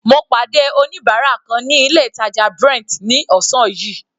Mo pàdé oníbárà kan ní ilé ìtàjà Brent ní ọ̀sán yìí.